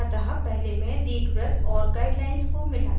अतः पहले मैं दीर्घवृत्त और guideline को मिटाती हूँ